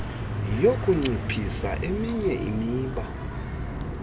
yokunciphisa eminye imiba